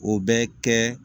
O bɛ kɛ